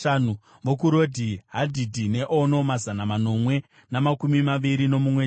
vokuRodhi, Hadhidhi neOno, mazana manomwe namakumi maviri nomumwe chete;